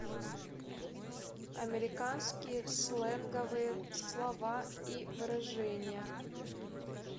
американские сленговые слова и выражения